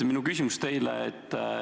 Minu küsimus teile on selline.